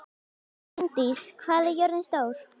Ingdís, hvað er jörðin stór?